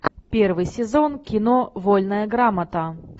первый сезон кино вольная грамота